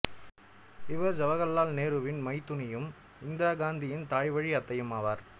இவர் சவகர்லால் நேருவின் மைத்துனியும் இந்திரா காந்தியின் தாய் வழி அத்தையும் ஆவார்